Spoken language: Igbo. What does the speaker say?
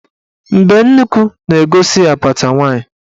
Mbenuukwu na-egosi apata nwaanyị.